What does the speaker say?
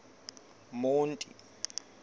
monti